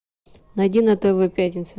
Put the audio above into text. найди на тв пятница